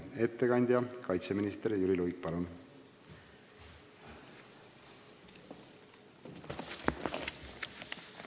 Ettekandja kaitseminister Jüri Luik, palun!